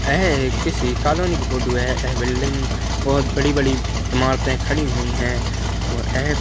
अह एक किसी कालोनी की फोटो है अह बिल्डिंग बहोत बड़ी -बड़ी इमारते खड़ी हुई हैं और अह --